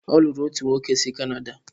Ọ lụrụ otu nwoke si Canada.